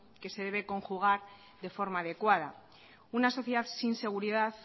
que se debe conjugar de forma adecuada una sociedad sin seguridad